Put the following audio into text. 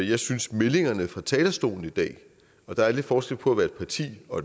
jeg synes at meldingerne fra talerstolen i dag og der er lidt forskel på at være et parti og